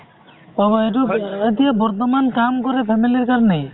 পাব এইটো এতিয়া বৰ্তমান কাম কৰে family ৰ কাৰণে